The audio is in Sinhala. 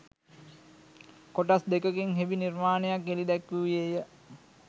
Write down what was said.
කොටස් දෙකකින් හෙබි නිර්මාණයක් එළි දැක්වූයේ ය